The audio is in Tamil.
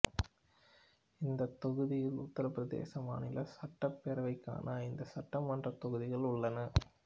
இந்தத் தொகுதியில் உத்தரப் பிரதேச மாநிலச் சட்டப் பேரவைக்கான ஐந்து சட்டமன்றத் தொகுதிகள் உள்ளன